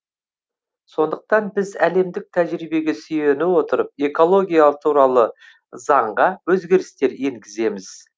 сондықтан біз әлемдік тәжірибеге сүйене отырып экология туралы заңға өзгерістер енгіземіз